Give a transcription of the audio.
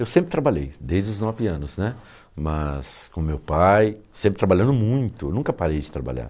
Eu sempre trabalhei, desde os nove anos, né, mas com meu pai, sempre trabalhando muito, nunca parei de trabalhar.